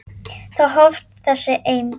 Þar hófst þessi eymd.